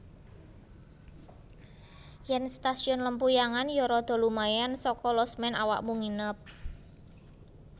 Yen Stasiun Lempuyangan yo rodo lumayan soko losmen awakmu nginep